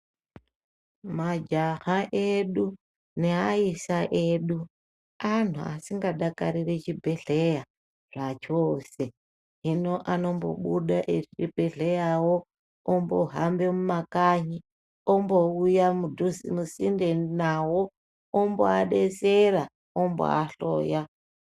Majaha edu neaisa edu, anhu asingadakariri chibhedhleya zvachose. Hiino anombobude echinhedhleyawo, ombohambe mumakanyi ,ombouya mudhuze musinde nawo, omboadetsera, omboahloya.